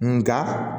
Nga